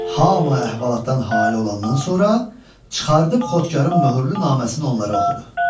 Hamı əhvalatdan hali olandan sonra çıxarıb Xodkarın möhürlü naməsini onlara oxudu.